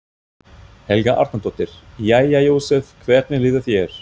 Helga Arnardóttir: Jæja Jósef, hvernig líður þér?